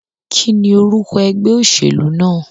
Kíní orúko egbé òsèlú náà?